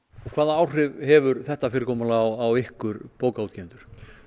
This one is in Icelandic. hvaða áhrif hefur þetta fyrirkomulag á ykkur bókaútgefendur